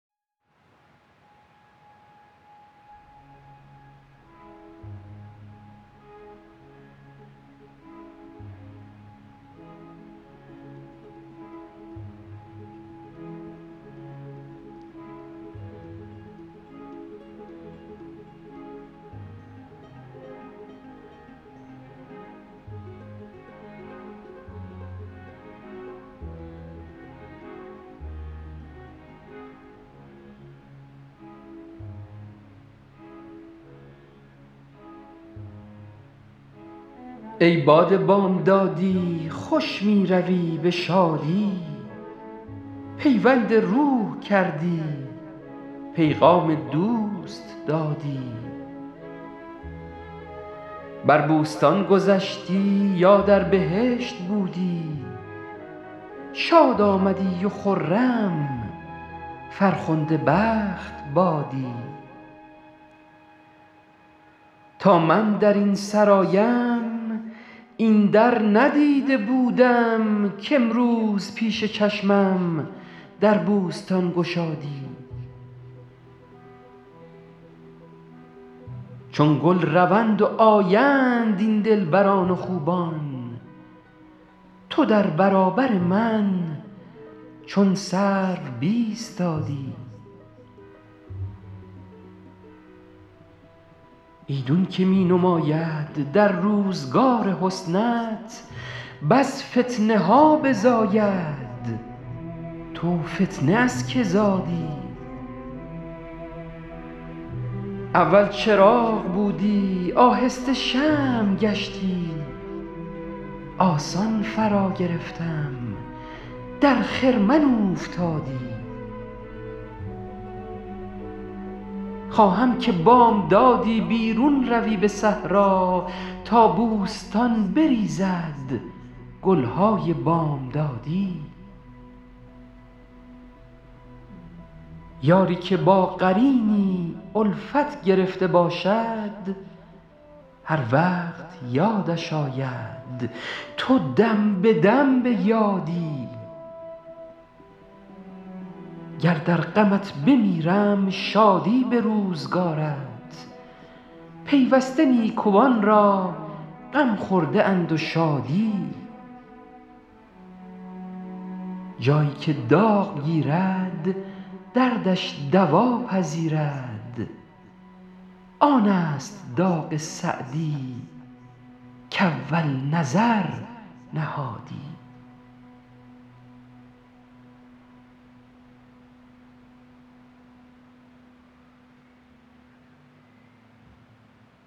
ای باد بامدادی خوش می روی به شادی پیوند روح کردی پیغام دوست دادی بر بوستان گذشتی یا در بهشت بودی شاد آمدی و خرم فرخنده بخت بادی تا من در این سرایم این در ندیده بودم کامروز پیش چشمم در بوستان گشادی چون گل روند و آیند این دلبران و خوبان تو در برابر من چون سرو بایستادی ایدون که می نماید در روزگار حسنت بس فتنه ها بزاید تو فتنه از که زادی اول چراغ بودی آهسته شمع گشتی آسان فراگرفتم در خرمن اوفتادی خواهم که بامدادی بیرون روی به صحرا تا بوستان بریزد گل های بامدادی یاری که با قرینی الفت گرفته باشد هر وقت یادش آید تو دم به دم به یادی گر در غمت بمیرم شادی به روزگارت پیوسته نیکوان را غم خورده اند و شادی جایی که داغ گیرد دردش دوا پذیرد آن است داغ سعدی کاول نظر نهادی